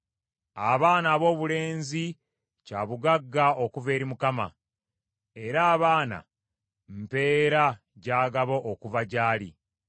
Abaana aboobulenzi kya bugagga okuva eri Mukama ; era abaana mpeera gy’agaba okuva gy’ali.